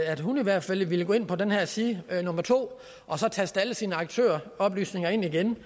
at hun i hvert fald ville gå ind på den her side nummer to og så taste alle sine aktøroplysninger ind igen